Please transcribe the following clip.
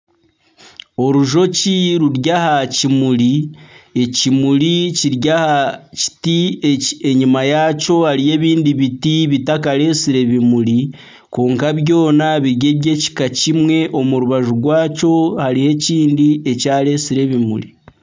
Orujoki ruri aha kimuri. Ekimuri kiri aha kiti. Enyima yakyo hariyo ebindi biti bitaka retsire bimuri kwonka byoona biri ebyekika kimwe. Omu rubaju rwakyo hariho ekindi ekyaretsire ekimuri.